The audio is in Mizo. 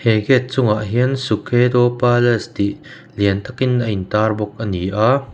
he gate chungah hian sukhedo palace tih lian takin a intar bawk ani a--